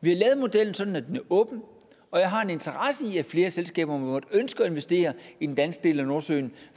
vi har lavet modellen sådan at den er åben og jeg har en interesse i at flere selskaber måtte ønske at investere i den danske del af nordsøen